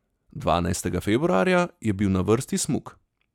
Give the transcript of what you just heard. Dvanajstega februarja je bil na vrsti smuk.